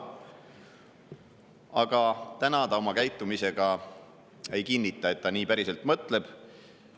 Aga täna ta oma käitumisega ei kinnita, et ta päriselt nii mõtleb.